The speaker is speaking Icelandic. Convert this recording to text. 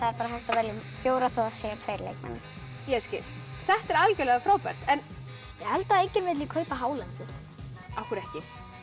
bara hægt að velja um fjóra þó að séu tveir leikmenn þetta er algjörlega frábært ég held að enginn vilji kaupa hálendið af hverju ekki